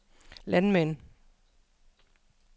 landmænd